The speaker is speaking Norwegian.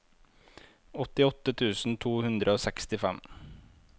åttiåtte tusen to hundre og sekstifem